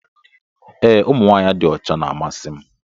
Ee ụmụ nwanyị dị ọcha na-amasị m